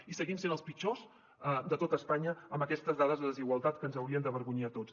i seguim sent els pitjors de tot espanya amb aquestes dades de desigualtat que ens haurien d’avergonyir a tots